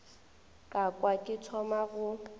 ka kwa ke thoma go